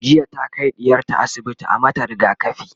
jiya ta Kai ɗiyarta asibiti a mata rigakafi